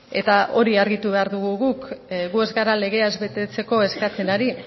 eta hori argitu behar dugu guk gu ez gara legea ez betetzeko eskatzen ari